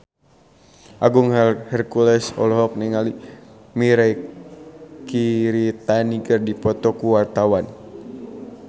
Agung Hercules jeung Mirei Kiritani keur dipoto ku wartawan